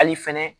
Hali fɛnɛ